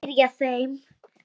spyrja þeir.